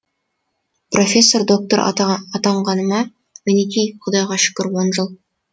профессор доктор атанғаныма мінекей құдайға шүкір он жыл